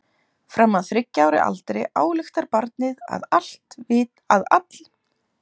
Fram að þriggja ára aldri ályktar barnið að allir viti það sem það veit.